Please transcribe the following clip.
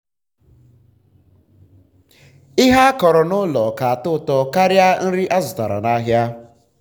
ihe akọrọ n'ụlọ ka atọ ụtọ karịa nri azụtara n'ahịa.